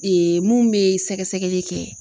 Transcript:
mun be sɛgɛsɛgɛli kɛ.